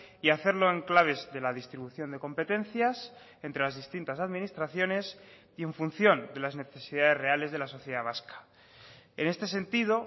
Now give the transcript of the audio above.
y hacerlo en claves de la distribución de competencias entre las distintas administraciones y en función de las necesidades reales de la sociedad vasca en este sentido